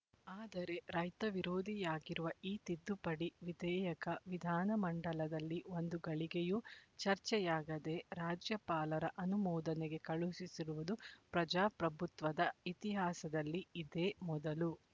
ಆದರೆ ರೈತವಿರೋಧಿಯಾಗಿರುವ ಈ ತಿದ್ದುಪಡಿ ವಿಧೇಯಕ ವಿಧಾನ ಮಂಡಲದಲ್ಲಿ ಒಂದು ಘಳಿಗೆಯೂ ಚರ್ಚೆಯಾಗದೆ ರಾಜ್ಯಪಾಲರ ಅನುಮೋದನೆಗೆ ಕಳುಹಿಸಿರುವುದು ಪ್ರಜಾಪ್ರಭುತ್ವದ ಇತಿಹಾಸದಲ್ಲಿ ಇದೇ ಮೊದಲು